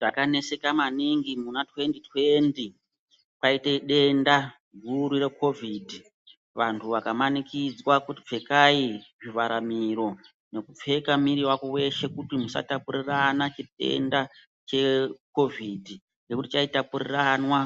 Takaneseka maningi muna twendi-twendi kwaitedenda guru rekovindi. Vantu vakamanikidzwa kuti pfekai zvivharamiro nekupfeka miri vako veshe kuti musatapurirana chitenda chekovhidhi. Ngekuti chaitapuriranwa